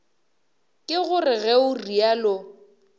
ke gore ge o realo